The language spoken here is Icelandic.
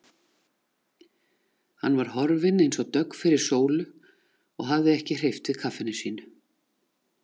Hann var horfinn eins og dögg fyrir sólu og hafði ekki hreyft við kaffinu sínu.